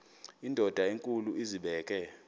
indod enkulu izibeke